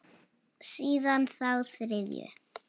Síðan þá þriðju.